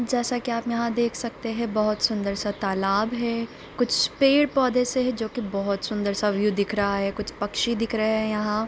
जैसा की आप यहाँ देख सकते हैं बहोत सुंदर सा तालाब है कुछ पेड़-पौधे से है जो की बहोत सुंदर सा व्यू दिख रहा है कुछ पक्षी दिख रहे हैं यहाँ।